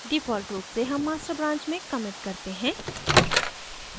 default रूप से हम master branch में commit करते हैं